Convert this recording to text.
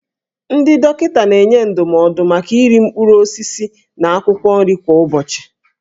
Ndị dọkịta na-enye ndụmọdụ maka oriri mkpụrụ osisi na akwụkwọ nri kwa ụbọchị.